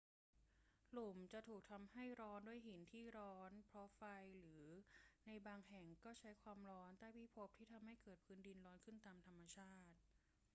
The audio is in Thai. หลุมจะถูกทำให้ร้อนด้วยหินที่ร้อนเพราะไฟ หรือในบางแห่งก็ใช้ความร้อนใต้พิภพที่ทำให้พื้นดินร้อนขึ้นตามธรรมชาติ